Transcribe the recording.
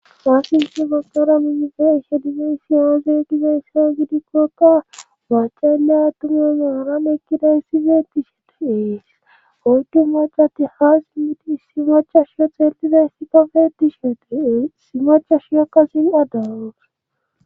faasi nshe gogara minife ishedime siyaaze gize sia gidikkokka baacalya tumyo magaran ekkida issifeeti shetiees oydu macatti haas midi si macha shioxellide sika feetishietiee simacha shiakkasin addawus